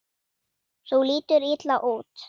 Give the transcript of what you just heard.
Þú lítur illa út